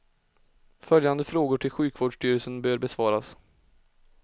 Följande frågor till sjukvårdstyrelsen bör besvaras.